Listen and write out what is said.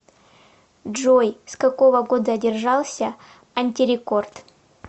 джой с какого года держался антирекорд